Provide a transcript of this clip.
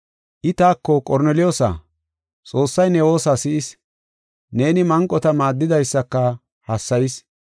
I taako, ‘Qorneliyoosa, Xoossay ne woosa si7is, neeni manqota maaddidaysaka hassayis.